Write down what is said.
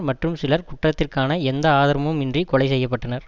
மற்றும் சிலர் குற்றத்திற்கான எந்த ஆதரமும் இன்றி கொலை செய்ய பட்டனர்